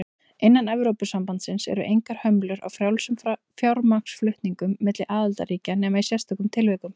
Innan Evrópusambandsins eru engar hömlur á frjálsum fjármagnsflutningum milli aðildarríkja nema í sérstökum tilvikum.